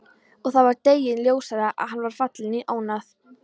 Það var deginum ljósara að hann var fallinn í ónáð.